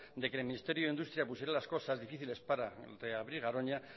de que el ministerio de industria pusiera las cosas difíciles para reabrir garoña